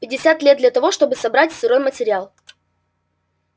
пятьдесят лет для того чтобы собрать сырой материал